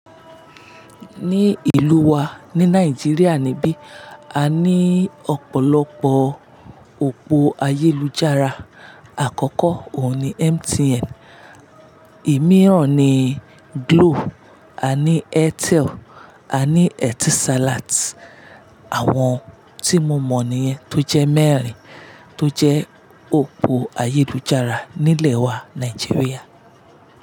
Ní ìlú wa ní Nàìjíríà nibi, a ní ọ̀pọ̀lọpọ̀ òpó ayélujára. Àkọ́kọ́ òun ni MTN, imí ràn ni Glo, a ní Airtel, a ní Etisalat. Àwọn tí mo mọ̀ ni yẹn tó jẹ́ mẹ́rin tó jẹ́ òpó ayélujára nílẹ̀ wa Nàìjíríà.